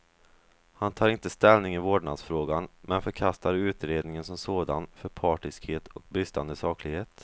Han tar inte ställning i vårdnadsfrågan, men förkastar utredningen som sådan för partiskhet och bristande saklighet.